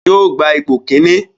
Yóò gba ipò kíní